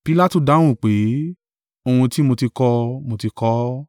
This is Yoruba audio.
Pilatu dáhùn pé, ohun tí mo ti kọ, mo ti kọ ọ́.